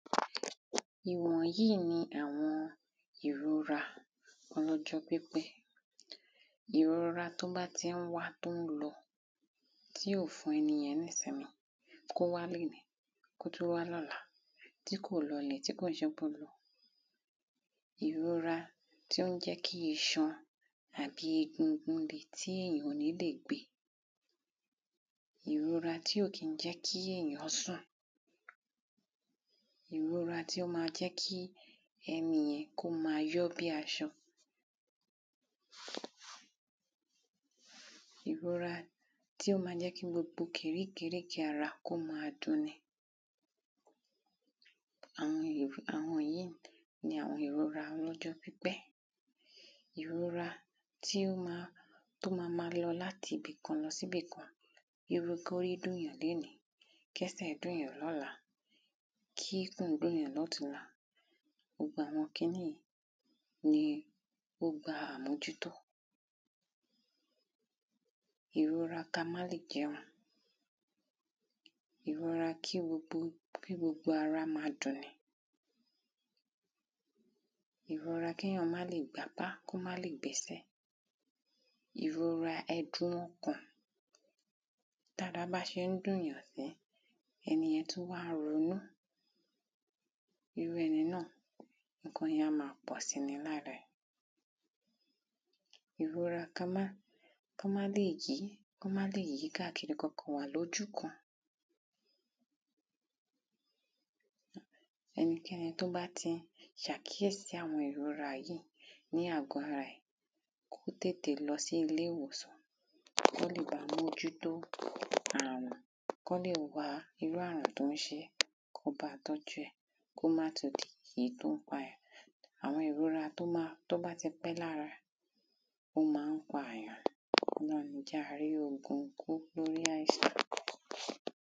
Ìwọ̀n yìí ni àwọn ìrora ọlọ́jọ́ pípẹ́, ìrora tí ó bá ti ń wá, tí ó ń lọ, tí ò fún ẹnì yẹn ní ìsinmi, kó wá léèní, kó tún wá l’ọ́la, tí kò lọ lẹ̀, tí kò ṣe pé ó lọ. Ìrora tí ó ń jẹ́ kí iṣan àbí egungun le, tí èyàn ò ní lè gbe. Ìrora tí ò kín jẹ́ kí èyán sùn. Ìrora tí ó ma jẹ́ kí ẹnì yẹn, kó ma yọ́ bí aṣọ. Ìrora tí ó ma jẹ́ kí gbogbo kirí kirí ki ara, kó ma dun ni, àwọn yìí ni àwọn ìrora ọlọ́jọ́ pípẹ́. Ìrora tí ó ma, tí ó ma ma lọ láti ibìkan lọsí ibìkan, bíi kí orí dùn yàn léèní, k’ẹ́sẹ̀ dùn yàn l’ọ́la, kí’kùn dùn yàn ní ọ̀túnla. gbogbo àwọn kiní yìí ni ó gba àmójútó. Ìrora kà má lè gé irun, ìrora kí gbogbo kí gbogbo ara ma dun ni. Ìrora kí yàn má lè gb’ápá, kó má lè gb’ẹ́sẹ̀, ìrora ẹ̀dun ọkàn, t’ára bá ṣe ń dùn yàn sí, ẹnì yẹn tún wá ń ronú. Irú ẹni náà ǹkan yẹn á ma pọ̀si lára ẹ̀, ìrora kamá, kamá lè jí, kamá lè yí káàkiri, ka kàn wà l’ójú kan. Ẹnikẹ́ni tó bá ti sàkíyèsí àwọn ìrora yìí ní àgọ́ ara rẹ̀, kó tètè lọ sí ilé ìwòsàn, kó lè ba mójú tó àrùn, kí wọ́n lè wá irú àrùn tó ń ṣe é, kí wọ́n ba tọ́jú ẹ̀, kó má tún di èyí tí ó ń pa. Àwọn ìrora tó bá ti pẹ́ lára, ó ma ń pa èyàn, ó má ń jẹ́ a rí ogun kó lórí àìsàn